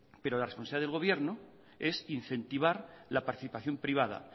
pero la responsable del gobierno es incentivar la participación privada